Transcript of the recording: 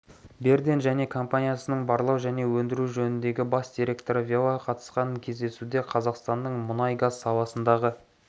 берден және компаниясының барлау және өндіру жөніндегі бас директоры велла қатысқан кездесуде қазақстанның мұнай-газ саласындағы